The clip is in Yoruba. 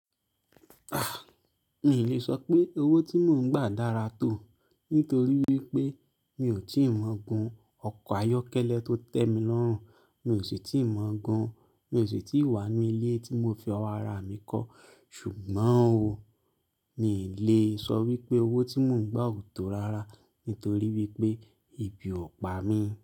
A! Mí n lè sọ pé owó tí mò ń gbà dára tó, nítorí wípé mi ò tíì mọ́ gun ọkọ̀ ayọ́kẹ́lẹ́ tó tẹ́ mi lọ́rùn, mi ò sì tí ì máa gun, mi ò sì tí wá n nu ilé tí mo fi owó ara mi kọ́. Ṣùgbọ́n o, mi ì lè sọ wípé owó tí mò ń gbà ò tó rárá, nítorí wípé ebí ọ̀ pá mi.